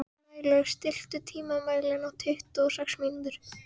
Snælaug, stilltu tímamælinn á tuttugu og sex mínútur.